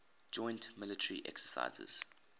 joint military exercises